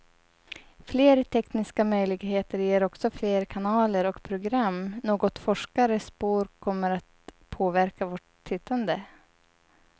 Fler tekniska möjligheter ger också fler kanaler och program, något forskare spår kommer att påverka vårt tittande.